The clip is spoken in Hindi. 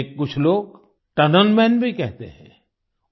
उन्हें कुछ लोग टनल मन भी कहते हैं